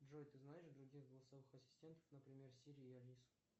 джой ты знаешь других голосовых ассистентов например сири и алису